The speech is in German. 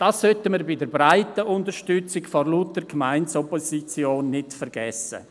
Diese breite Unterstützung sollten wir vor lauter Opposition durch die Gemeinden nicht vergessen.